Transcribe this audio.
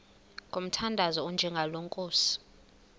ngomthandazo onjengalo nkosi